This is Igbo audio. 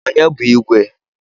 Onye bu igwe?